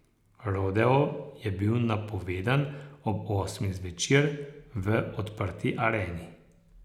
Rodeo je bil napovedan ob osmih zvečer v odprti areni.